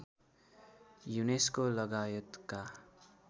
UNESCO लगायतका